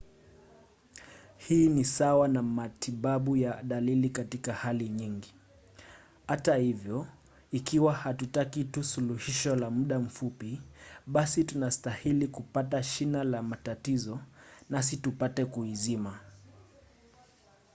hii ni sawa na matibabu ya dalili katika hali nyingi. hata hivyo ikiwa hatutaki tu suluhisho la muda mfupi basi tunastahili kupata shina la matatizo nasi tupate kuizima